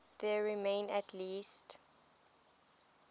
there remain at least